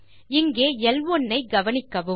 இங்கே ல்1 ஐ கவனிக்கவும்